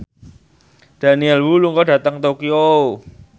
Daniel Wu lunga dhateng Tokyo